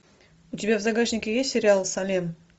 у тебя в загашнике есть сериал салем